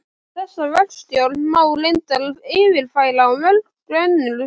Þessa verkstjórn má reyndar yfirfæra á mörg önnur svið.